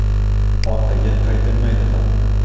Orqaga qaytilmaydi ham.